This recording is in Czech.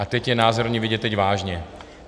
A teď je názorně vidět, teď vážně.